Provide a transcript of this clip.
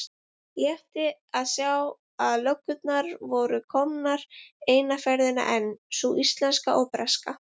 Létti að sjá að löggurnar voru að koma eina ferðina enn, sú íslenska og breska.